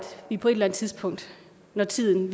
vi på et eller andet tidspunkt når tiden